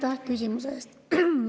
Aitäh küsimuse eest!